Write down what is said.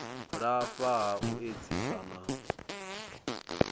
lafha ha u edzisa na